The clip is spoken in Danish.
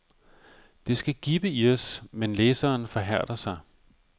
Det skal gibbe i os, men læseren forhærder sig.